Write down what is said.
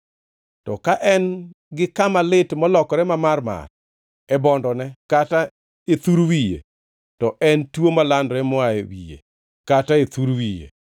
To ka en-gi kama lit molokore mamarmar e bondone kata e thur wiye, to en tuo malandore moa e wiye kata e thur wiye.